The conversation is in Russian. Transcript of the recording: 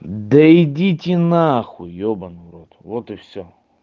да идите нахуй ебанна в рот вот и все